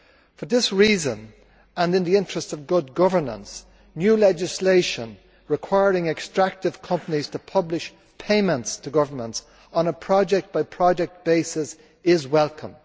For this reason, and in the interests of good governance, new legislation requiring extractive companies to publish payments to governments on a project by project basis is welcome.